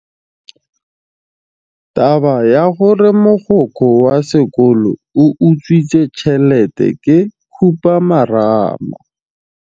Taba ya gore mogokgo wa sekolo o utswitse tšhelete ke khupamarama.